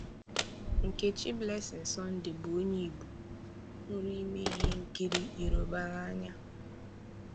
Nkechi Blessing Sunday bụ onye Igbo hụrụ ime ihe nkiri Yoruba n'anya.